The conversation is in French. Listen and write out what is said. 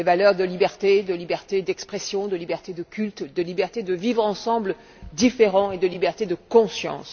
Les valeurs de liberté, de liberté d'expression, de liberté de culte, de liberté de vivre ensemble dans la différence et de liberté de conscience.